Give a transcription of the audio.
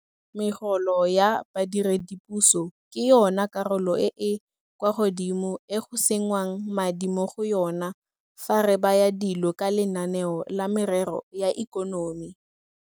Megolo ya badiredipuso ke yona karolo e e kwa godimo e go sengwang madi mo go yona fa re baya dilo ka lenaneo la merero ya ikonomi.